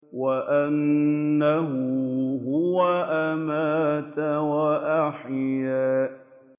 وَأَنَّهُ هُوَ أَمَاتَ وَأَحْيَا